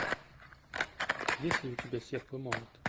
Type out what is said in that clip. есть ли у тебя серп и молот